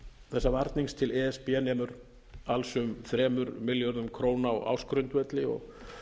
þessa varnings til e s b nemur alls um þremur milljörðum króna á ársgrundvelli og